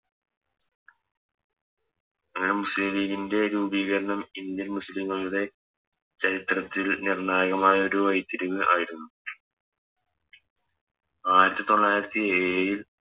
അങ്ങനെ മുസ്ലിം ലീഗിൻറെ രൂപീകരണം Indian മുസ്ലിങ്ങളുടെ ചരിത്രത്തിൽ നിർണ്ണായകമായൊരു വയിതിരിവ് ആയിരുന്നു ആയിരത്തി തൊള്ളായിരത്തി ഏഴില്